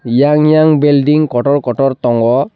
eiang eiang building kotor kotor tongo.